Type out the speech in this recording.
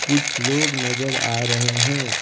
कुछ लोग नजर आ रहे है।